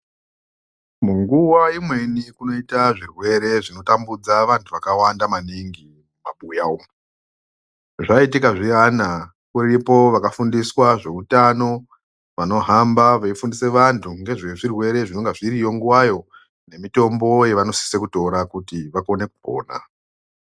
Munguva imweni kunoita zvirwere zvinotambudza vantu vakawanda maningi, mumabuya umu. Zvaitika zviyana ,uripo wakafundiswa ngezveutano , vanohamba veifundise vantu, ngezvezvirwere zvinonge zviriyo nguvayo, nemitombo yevanosise kutora kuti vakone kupona.